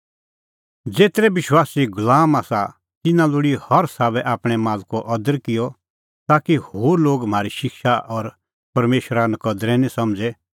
ज़ेतरै विश्वासी गुलाम आसा तिन्नैं लोल़ी हर साबै आपणैं मालको अदर किअ ताकि होर लोग म्हारी शिक्षा और परमेशरा नकदरै निं समझ़े